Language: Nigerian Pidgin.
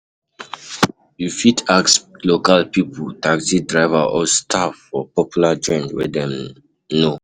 You fit ask local pipo, taxi driver or staff for popular joint wey dem know